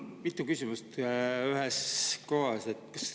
Mul on mitu küsimust ühes.